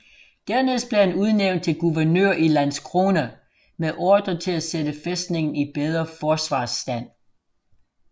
Dernæst blev han udnævnt til guvernør i Landskrona med ordre til at sætte fæstningen i bedre forsvarsstand